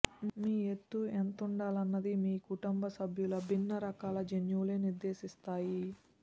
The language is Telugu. మీ ఎత్తు ఎంతుండాలన్నది మీ కుటుంబ సభ్యుల భిన్న రకాల జన్యువులే నిర్దేశిస్తాయి